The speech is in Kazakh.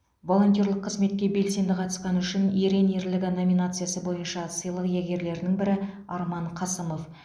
волонтерлік қызметке белсенді қатысқаны үшін ерен ерлігі номинациясы бойынша сыйлық иегерлерінің бірі арман қасымов